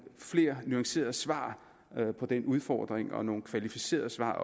flere nuancerede svar på den udfordring også nogle kvalificerede svar